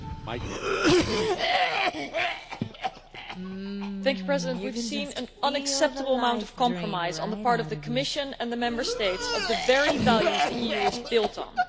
Mr President, we have seen an unacceptable amount of compromise on the part of the Commission and the Member States on the very values the EU is built on.